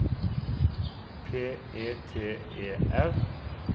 P E T E R